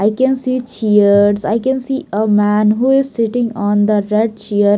I can see chairs I can see a man who is sitting on the red chair.